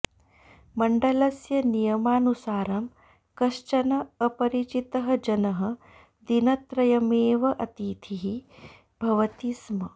मण्डलस्य नियमानुसारं कश्चन अपरिचितः जनः दिनत्रयमेव अतिथिः भवति स्म